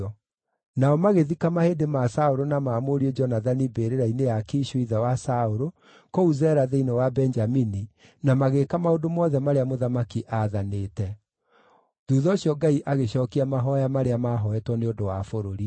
Nao magĩthika mahĩndĩ ma Saũlũ na ma mũriũ Jonathani mbĩrĩra-inĩ ya Kishu, ithe wa Saũlũ, kũu Zela thĩinĩ wa Benjamini, na magĩĩka maũndũ mothe marĩa mũthamaki aathanĩte. Thuutha ũcio Ngai agĩcookia mahooya marĩa maahooetwo nĩ ũndũ wa bũrũri.